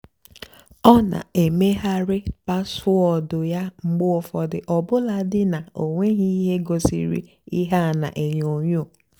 ọ́ nà-èmèghàrị́ páswóọ̀dụ́ yá mgbe ụ́fọ̀dụ́ ọ́bụ́làdì ná ọ́ nwèghị́ íhé gosírì íhé á nà-ènyó ènyó.